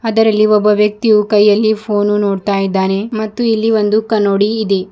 ಅದರಲ್ಲಿ ಒಬ್ಬ ವ್ಯಕ್ತಿಯು ಕೈಯಲ್ಲಿ ಫೋನು ನೋಡ್ತಾ ಇದ್ದಾನೆ ಮತ್ತು ಇಲ್ಲಿ ಒಂದು ಕನ್ನೋಡಿ ಇದೆ.